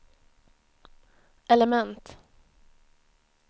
element